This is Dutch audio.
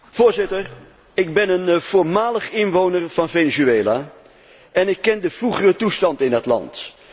Voorzitter, ik ben een voormalig inwoner van Venezuela en ik ken de vroegere toestand in dat land.